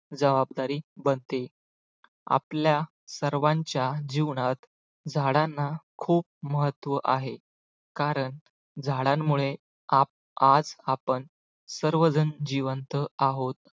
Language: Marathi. जबाबदारी बनते. आपल्या सर्वांच्या जीवनात झाडांना खूप महत्त्व आहे, कारण झाडांमुळे आप आज आपण सर्वजण जिवंत आहोत.